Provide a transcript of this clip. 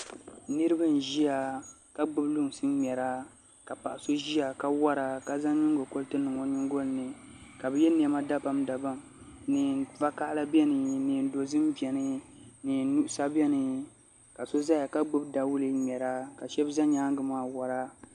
Niraba n ʒiya ka gbubi lunsi ŋmɛra ka paɣa so ʒiya ka wora ka zaŋ nyingokoriti niŋ o nyingoli ni ka bi yɛ niɛma dabam dabam neen vakaɣala biɛni neen dozim biɛni neen nuɣsa biɛni ka shab ʒɛya ka gbubi dawulɛ n ŋmɛra ka shab ʒɛ nyaangi maa wora